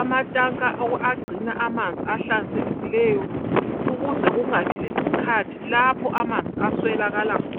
amatanka agcina amanzi ahlanzekileyo ukuze kungabi lesikhathi lapho amanzi aswelakala khona.